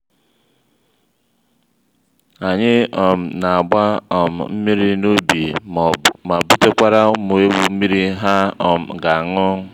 anyị um na-agba um mmiri n'ubi ma butekwara ụmụ eghu mmiri ha um ga aṅụ